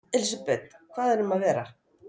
Elísabet, hvað erum að vera?